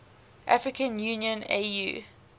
african union au